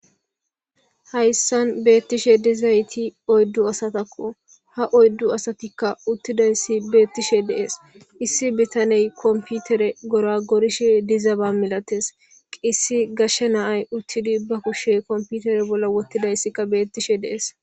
Hayssan beettishe dizayti oyddu asatakko haoyddu asatikka uttidayssi beettishe deees issi bitaney komputere gora gorishe dizaba milates qissi gashshe naay uttidi bakushe komputere bolla wottidayssikka beettishe dees.